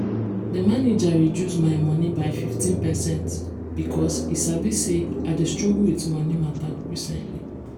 d manager reduce my moni by 15 percent because e sabi say i dey struggle with moni matter recently.